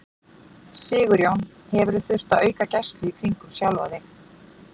Sigurjón: Hefurðu þurft að auka gæslu í kringum sjálfa þig?